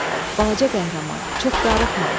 "Balaca qəhrəman, çox darıxma.